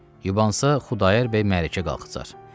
Yubansa, Xudayar bəy mərəkkə qalxacağdı.